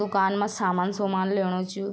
दूकान मा सामान सुमान ल्योणु च यु।